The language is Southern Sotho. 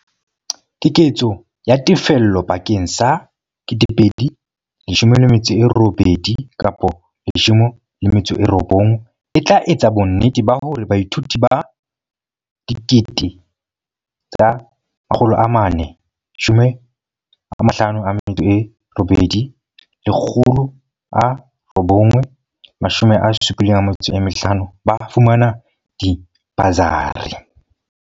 Keketso ya tefello bakeng sa 2018-19 e tla etsa bonnete ba hore baithuti ba 458 875 ba fumana dibasari.